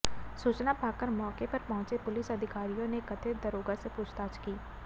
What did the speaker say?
सूचना पाकर मौके पर पहुंचे पुलिस अधिकारियों ने कथित दारोगा से पूछताछ की